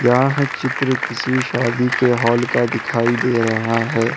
यहा है चित्र किसी शादी के हाल का दिखाई दे रहा है।